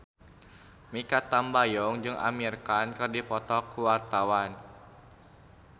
Mikha Tambayong jeung Amir Khan keur dipoto ku wartawan